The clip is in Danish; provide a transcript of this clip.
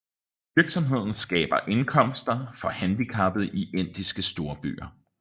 Virksomheden skaber indkomster for handicappede i indiske storbyer